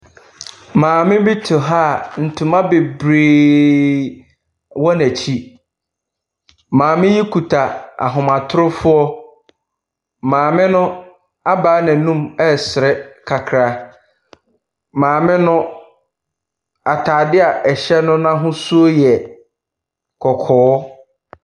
Maame bi te hɔ a ntoma bebree wɔ n'akyi. Maame no kuta ahomatorofoɔ. Maame no abaa n'anom ɛresere kaktra. Maame no, ataade a ɔhyɛ no n'ahosuo yɛ kɔkɔɔ.